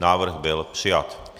Návrh byl přijat.